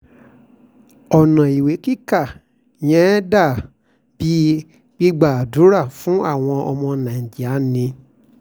ọ̀nà ìwé kíkà yẹn dà bíi gbígba àdúrà fáwọn ọmọ nàìjíríà ni